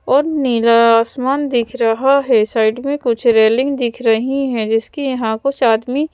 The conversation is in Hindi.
और नीला आसमान दिख रहा है साइड में कुछ रेलिंग दिख रही हैं जिसकी यहां कुछ आदमी--